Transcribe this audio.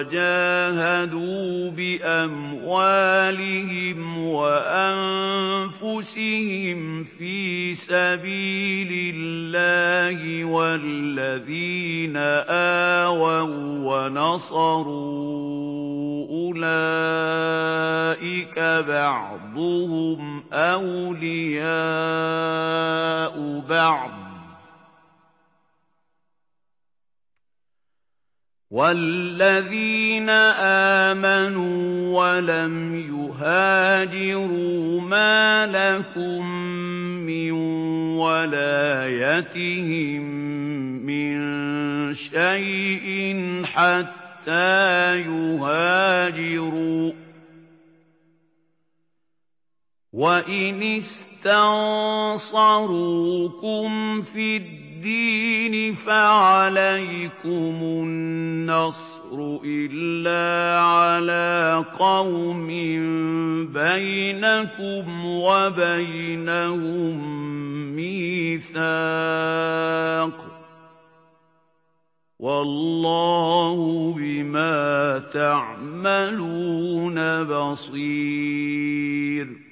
وَجَاهَدُوا بِأَمْوَالِهِمْ وَأَنفُسِهِمْ فِي سَبِيلِ اللَّهِ وَالَّذِينَ آوَوا وَّنَصَرُوا أُولَٰئِكَ بَعْضُهُمْ أَوْلِيَاءُ بَعْضٍ ۚ وَالَّذِينَ آمَنُوا وَلَمْ يُهَاجِرُوا مَا لَكُم مِّن وَلَايَتِهِم مِّن شَيْءٍ حَتَّىٰ يُهَاجِرُوا ۚ وَإِنِ اسْتَنصَرُوكُمْ فِي الدِّينِ فَعَلَيْكُمُ النَّصْرُ إِلَّا عَلَىٰ قَوْمٍ بَيْنَكُمْ وَبَيْنَهُم مِّيثَاقٌ ۗ وَاللَّهُ بِمَا تَعْمَلُونَ بَصِيرٌ